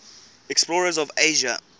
explorers of asia